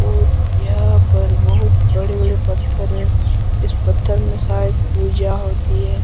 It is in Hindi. और यहां पर बहुत बड़े-बड़े पत्थर है इस पत्थर में शायद पूजा होती है।